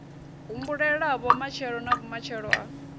humbulelavho matshelo na vhumatshelo ha